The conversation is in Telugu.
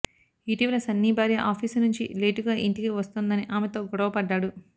ఇటీవల సన్నీ భార్య ఆఫీసు నుంచి లేటుగా ఇంటికి వస్తోందని ఆమెతో గొడవపడ్డాడు